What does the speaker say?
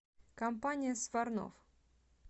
компания сварнов